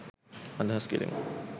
අදහස් කළෙමු.